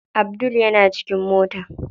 Abdul yana cikin mota.